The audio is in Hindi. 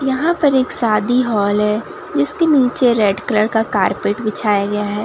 यहां पर एक शादी हॉल है जिसके नीचे रेड कलर का कार्पेट बिछाया गया हैं।